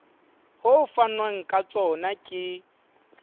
ho fanwang ka tsona ke